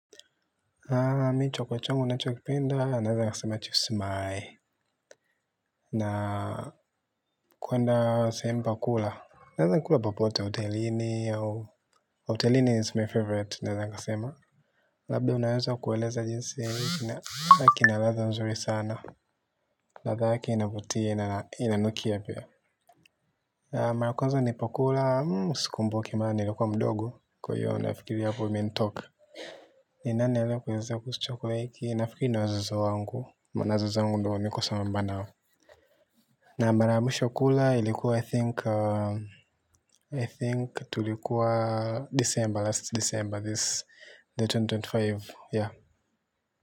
Mimi chakula changu ninachokipenda naweza nikasema. Na kwenda sehemu pa kula. Naweza nikakula popote, hotelini au, hotelini is my favorite naweza nikasema. Labda unaweza kueleza jinsi chakula kina ladha nzuri sana. Ladha yake inavutia, inanukia pia. Mara ya kwanza nilipokula, sikumbuki maana nilikuwa mdogo, kwa hiyo nafikiria hapo imenitoka. Ni nani aliyekuelezea kuhusu chakula hiki nafikiri ni wazazi wangu maana wazazi wangu ndiyo niko sambamba nao. Na mara ya mwisho kula ilikuwa I think I think tulikuwa December last December this elfu mbili na ishirini na tano yeah.